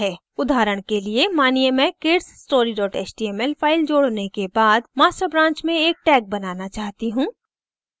उदाहरण के लिए मानिए मैं kidsstory html फ़ाइल जोड़ने के बाद master branch में एक tag बनाना चाहती हूँ